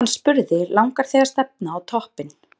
Hann spurði: Langar þig að stefna á toppinn?